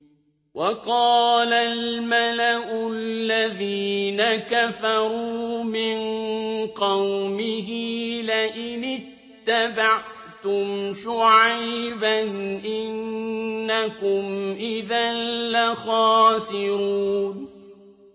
وَقَالَ الْمَلَأُ الَّذِينَ كَفَرُوا مِن قَوْمِهِ لَئِنِ اتَّبَعْتُمْ شُعَيْبًا إِنَّكُمْ إِذًا لَّخَاسِرُونَ